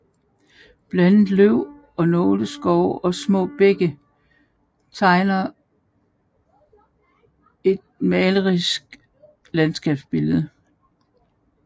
Blandet løv og nåleskov og små bække tegner et malerisk landskabsbillede